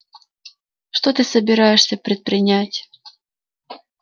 что ты собираешься предпринять